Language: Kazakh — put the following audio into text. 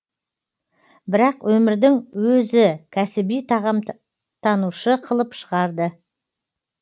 бірақ өмірдің өзі кәсіби тағамтанушы қылып шығарды